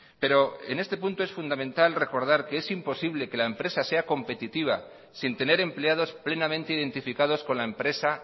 pero en este punto es fundamental recordar que es imposible que la empresa sea competitiva sin tener empleados plenamente identificados con la empresa